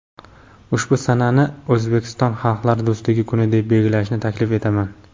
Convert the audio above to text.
ushbu sanani O‘zbekistonda "Xalqlar do‘stligi kuni" deb belgilashni taklif etaman".